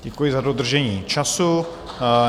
Děkuji za dodržení času.